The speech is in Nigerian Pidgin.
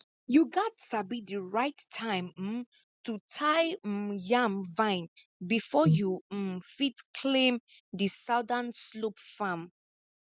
you gats sabi di right time um to tie um yam vine before you um fit claim di southern slope farm